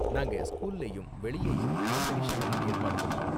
நாங்க ஸ்கூல்லயும் வெளியேயும் காம்படிஷன்லாம் ஏற்பாடு பண்ணுவோம்.